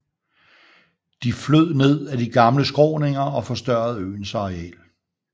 De flød ned af de gamle skråninger og forstørrede øens areal